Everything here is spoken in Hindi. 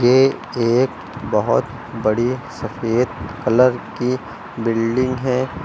ये एक बहुत बड़ी सफेद कलर की बिल्डिंग है।